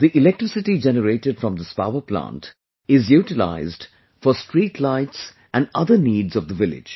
The electricity generated from this power plant is utilized for streetlights and other needs of the village